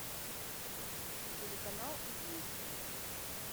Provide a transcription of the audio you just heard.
телеканал известия